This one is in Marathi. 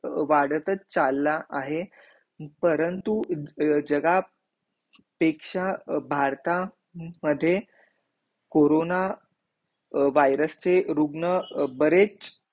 वराडात चालला आहे परंतु जगह पेक्षा भारता मध्ये कोरोनावायरस चे रुग्ण भरेच